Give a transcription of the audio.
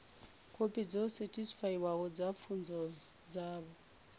khophi dzo sethifaiwaho dza pfunzo dzavho